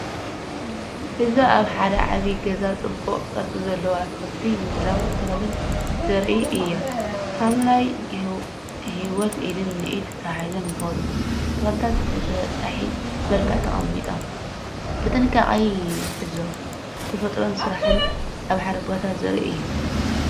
እዚ ኣብ ሓደ ዓቢ ገዛ ጽቡቕ ቅርጺ ዘለዎ ኣትክልቲ ምድላው ተኽልን ዘርኢ እዩ። ሓምላይ ህይወት ኢድ ንኢድ ተተሓሒዙ ይኸይድ! ተኽልታት ብተበጻሒ መልክዕ ተቐሚጦም፡ ብጥንቃቐ ይዕዘቡ። ተፈጥሮን ስራሕን ኣብ ሓደ ቦታ ዘርኢ እዩ።